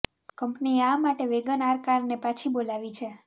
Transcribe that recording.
કંપનીએ આ માટે વેગન આર કારને પાછી બોલાવી છે